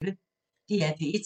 DR P1